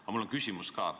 Aga mul on küsimus ka.